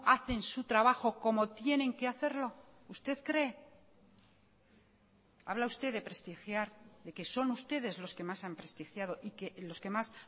hacen su trabajo como tienen que hacerlo usted cree habla usted de prestigiar de que son ustedes los que más han prestigiado y que los que más